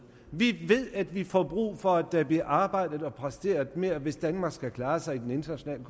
vi ved at vi får brug for at der bliver arbejdet og præsteret mere hvis danmark skal klare sig i den internationale